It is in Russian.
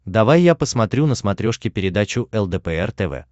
давай я посмотрю на смотрешке передачу лдпр тв